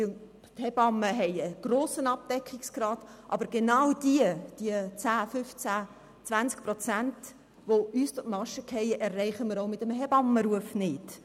Die Hebammen haben einen grossen Abdeckungsgrad, aber genau diese 10 bis 20 Prozent, die uns durch die Maschen fallen, erreichen wir auch mit einem Hebammenruf nicht.